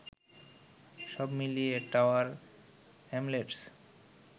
সব মিলিয়ে Tower Hamlets